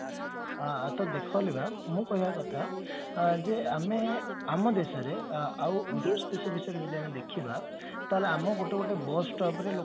ତ ଦେଖ ଅଲିଭା ମୋ କୋହିବା କଥା ଯେ ଆମେ ଆମ ଦେଶରେ ଆଉ ଯଦି ଆମେ ଦେଖିବା ତାହେଲେ ଆମୋ ଗୋଟେ ଗୋଟେ bus stop ରେ ଲୋକମାନେ